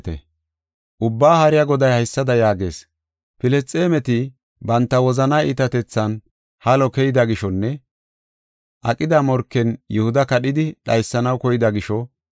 Ubbaa Haariya Goday haysada yaagees: “Filisxeemeti banta wozanaa iitatethan halo keyida gishonne aqida morken Yihuda kadhidi dhaysanaw koyida gisho,